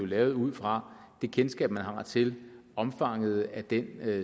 lavet ud fra det kendskab man har til omfanget af den